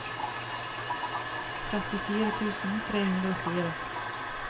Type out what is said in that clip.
trettifire tusen tre hundre og fire